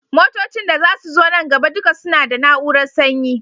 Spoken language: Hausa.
Motocin da zasu zo nan gaba duka suna da na urar sanyi